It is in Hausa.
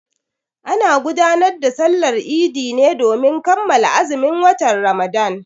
Ana gudanar da Sallar Idi ne domin kammala azumin watan Ramadan.